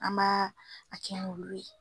An b'a a kɛ n'olu ye